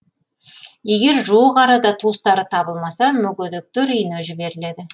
егер жуық арада туыстары табылмаса мүгедектер үйіне жіберіледі